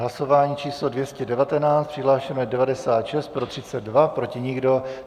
Hlasování číslo 219, přihlášeno je 96, pro 32, proti nikdo.